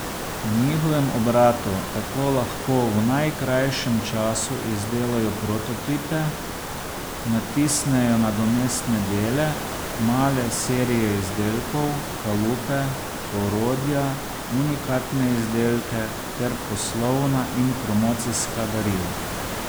V njihovem obratu tako lahko v najkrajšem času izdelajo prototipe, natisnejo nadomestne dele, male serije izdelkov, kalupe, orodja, unikatne izdelke ter poslovna in promocijska darila.